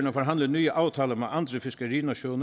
at forhandle nye aftaler med andre fiskerinationer